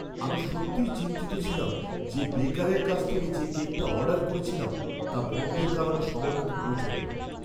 আমি সত্যিই চিন্তিত ছিলাম যে বেকারের কাছ থেকে যে কেকটা অর্ডার করেছিলাম তা বনধের কারণে সময়মতো পৌঁছাবে না।